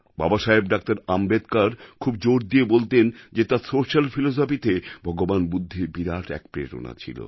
বাবাসাহেব ডা আম্বেদকর খুব জোর দিয়ে বলতেন যে তাঁর সোশিয়াল philosophyতে ভগবান বুদ্ধের বিরাট এক প্রেরণা ছিল